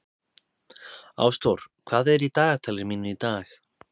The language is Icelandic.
Ásdór, hvað er í dagatalinu mínu í dag?